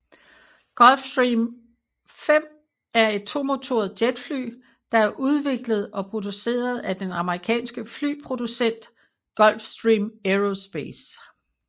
Gulfstream V er et tomotoret jetfly der er udviklet og produceret af den amerikanske flyproducent Gulfstream Aerospace